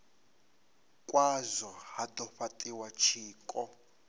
khazwo ha do fhatiwa tshiko